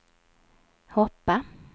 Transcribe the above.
hoppa